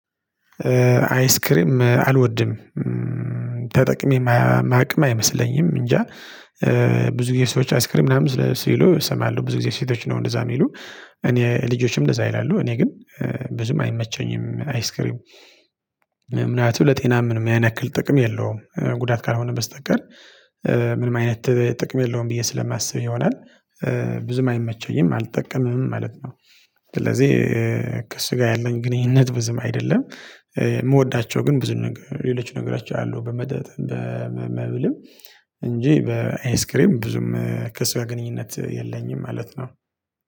አይስክሪም አልወድም። ተጠቅሜ እማቅም አይመስለኝም እንጃ ብዙ ጊዜ ሰዎች አይስክሪም ምናምን ስለ ሲሉ እሰማለሁ ብዙ ጊዜ ሴቶች ነው እንደዛ የሚሉ እኔ ልጆችም እንደዛ ይላሉ እኔ ግን ብዙም አይመቸኝም። አይስክሪም ምናልባት ለጤናም ምንም ያንያክል ጥቅም የለውም ጉዳት ካልሆነ በስተቀር ምንም አይነት ጥቅም የለውም ብዬ ስለማስብ ይሆናል ብዙም አይመቸኝም አልጠቀምም ማለት ነው። ስለዚህ ከስጋ ያለን ግንኙነት ብዙም አይደለም። የምወዳቸው ግን ብዙ ነገር ሌሎች ነገሮች አሉ በመጠጥም በመብልም እንጂ በአይስክሬም ብዙም ከሱ ጋ ግንኙነት የለኝም ማለት ነው።